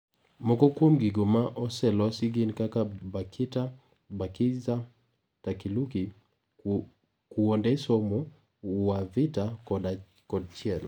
Moko kuom gigo ma oselosi gin kaka Bakita, Bakiza, Takiluki, kuonde somo, Uwavita, kod chiel.